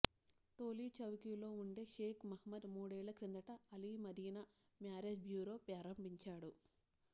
టోలీచౌకీలో ఉండే షేక్ మహమూద్ మూడేళ్ల కిందట అల్ మదీనా మ్యారేజ్ బ్యూరో ప్రారంభించాడు